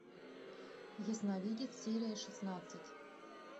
ясновидец серия шестнадцать